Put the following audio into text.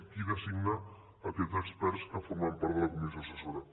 qui designa aquests experts que formaran part de la comissió assessora